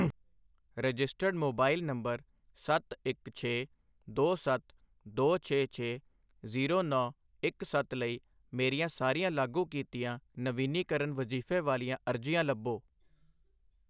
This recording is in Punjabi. ਰਜਿਸਟਰਡ ਮੋਬਾਇਲ ਨੰਬਰ ਸੱਤ ਇੱਕ ਛੇ ਦੋ ਸੱਤ ਦੋ ਛੇ ਛੇ ਜ਼ੀਰੋ ਨੌਂ ਇੱਕ ਸੱਤ ਲਈ ਮੇਰੀਆਂ ਸਾਰੀਆਂ ਲਾਗੂ ਕੀਤੀਆਂ ਨਵੀਨੀਕਰਨ ਵਜੀਫੇ਼ ਵਾਲੀਆਂ ਅਰਜ਼ੀਆਂ ਲੱਭੋ।